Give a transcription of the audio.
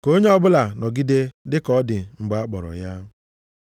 Ka onye ọbụla nọgide dịka ọ dị mgbe a kpọrọ ya.